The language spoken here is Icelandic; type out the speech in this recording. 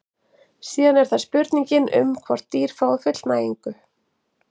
síðan er það spurningin um hvort dýr fái fullnægingu